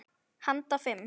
Handa fimm